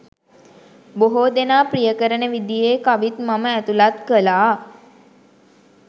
බොහෝ දෙනා ප්‍රිය කරන විදියේ කවිත් මම ඇතුළත් කළා